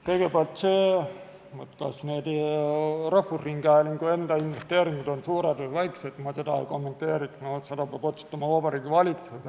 Kõigepealt, seda, kas rahvusringhäälingu enda investeeringud on suured või väikesed, ma ei kommenteeriks, seda peab otsustama Vabariigi Valitsus.